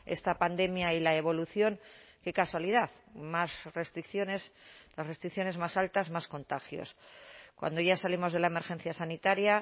esta pandemia y la evolución qué casualidad más restricciones las restricciones más altas más contagios cuando ya salimos de la emergencia sanitaria